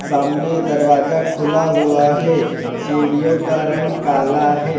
सामने दरवाजा खुला हुआ है सीढ़ियो का रंग काला है।